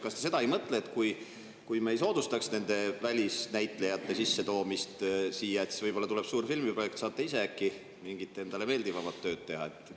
Kas te seda ei mõtle, et kui me ei soodustaks välisnäitlejate sissetoomist siia, siis võib-olla, kui tuleb suur filmiprojekt, saate äkki ise mingit endale meeldivamat tööd teha?